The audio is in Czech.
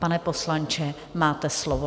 Pane poslanče, máte slovo.